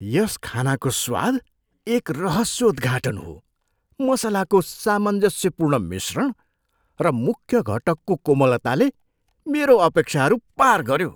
यस खानाको स्वाद एक रहस्योद्घाटन हो, मसलाको सामञ्जस्यपूर्ण मिश्रण र मुख्य घटकको कोमलताले मेरो अपेक्षाहरू पार गऱ्यो।